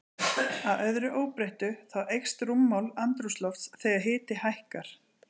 Að öðru óbreyttu, þá eykst rúmmál andrúmslofts þegar hiti hækkar.